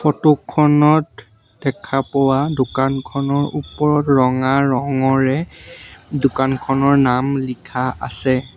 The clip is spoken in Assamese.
ফটো খনত দেখা পোৱা দোকানখনৰ ওপৰত ৰঙা ৰঙৰে দোকানখনৰ নাম লিখা আছে।